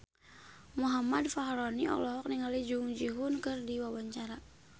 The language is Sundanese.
Muhammad Fachroni olohok ningali Jung Ji Hoon keur diwawancara